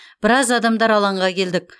біраз адамдар алаңға келдік